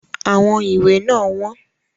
Àwọn ìwé náà wọ́n.